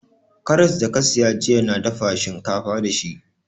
Karras da ka siya jiya na dafa shinkafa da shi